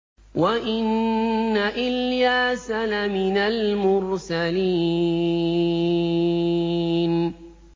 وَإِنَّ إِلْيَاسَ لَمِنَ الْمُرْسَلِينَ